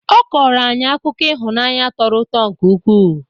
Ọ kọrọ anyị akụkọ ihunaanyị tọrọ ụtọ nke ụkwụ.